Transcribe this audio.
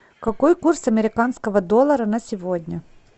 какой курс американского доллара на сегодня